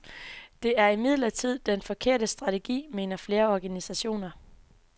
Det er imidlertid den forkerte strategi, mener flere organisationer.